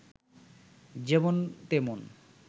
যেমন তেমন